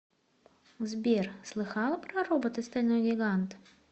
сбер слыхала про робота стальной гигант